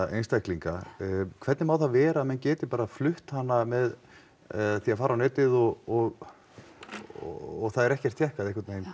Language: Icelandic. einstaklinga hvernig má það vera að menn geti bara flutt hana með því að fara á netið og og það er ekkert tékkað